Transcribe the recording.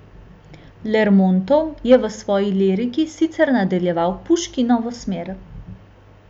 Lermontov je v svoji liriki sicer nadaljeval Puškinovo smer.